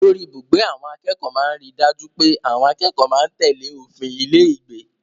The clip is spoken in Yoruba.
Olórí-ibùgbé àwọn akẹ́kọ̀ọ́ máa ń ri dájú pé àwọn akẹ́kọ̀ọ́ máa ń tèlé òfin ilé-ìgbé.